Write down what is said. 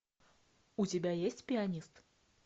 у тебя есть пианист